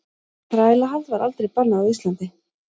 Þrælahald var aldrei bannað á Íslandi.